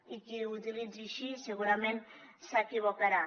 i qui ho utilitzi així segurament s’equivocarà